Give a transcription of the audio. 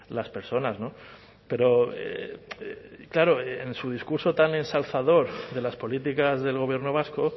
las personas pero claro en su discurso tan ensalzador de las políticas del gobierno vasco